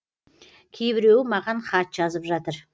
кейбіреуі маған хат жазып жатыр